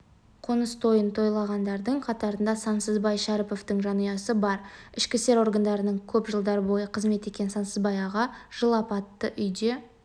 қоныс тойын тойлағандардың қатарында сансызбай шәріповтың жанұясы бар ішкі істер органдарында көп жылдар бойы қызмет еткен сансызбай аға жыл апатты үйде